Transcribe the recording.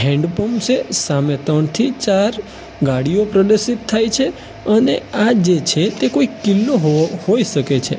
Hand pump છે સામે ત્રણ થી ચાર ગાડીઓ પ્રદર્શિત થાય છે અને આ જે છે તે કોઈ કિલ્લો હોવો હોય શકે છે.